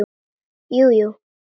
Jú, jú.